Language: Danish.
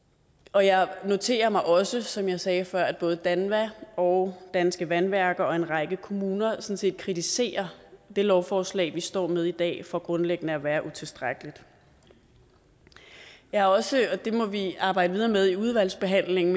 og jeg noterer mig også som jeg sagde før at både danva og danske vandværker og en række kommuner sådan set kritiserer det lovforslag vi står med i dag for grundlæggende at være utilstrækkeligt jeg er også og det må vi arbejde videre med i udvalgsbehandlingen